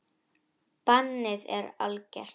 Bannið er algert.